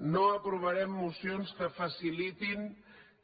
no aprovarem mocions que facilitin